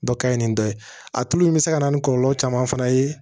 Dɔ ka ɲi ni dɔ ye a tulu in bɛ se ka na ni kɔlɔlɔ caman fana ye